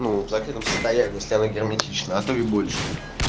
ну в закрытом состоянии если оно герметично а то и больше